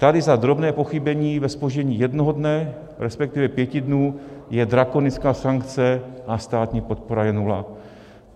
Tady za drobné pochybení ve zpoždění jednoho dne, respektive pěti dnů, je drakonická sankce a státní podpora je nula.